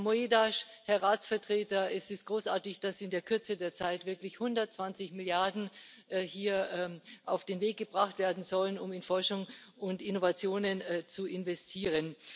Herr Moedas, Herr Ratsvertreter, es ist großartig, dass in der Kürze der Zeit wirklich 120 Milliarden hier auf den Weg gebracht werden sollen, um in Forschung und Innovationen zu investieren.